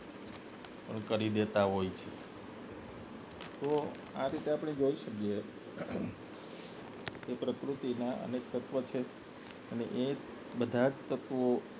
કરી દેતા હોય છે તો આ રીતે આપને જોઈ શકીએ પ્રકૃતિના અનેક તત્વો છે અને એ બધાં જ તત્વો